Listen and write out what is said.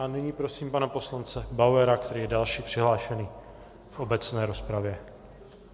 A nyní prosím pana poslance Bauera, který je další přihlášený v obecné rozpravě.